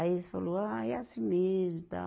Aí eles falou, ah, é assim mesmo e tal.